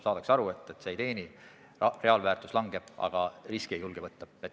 Saadakse aru, et see ei teeni, reaalväärtus langeb, aga riske ei julgeta võtta.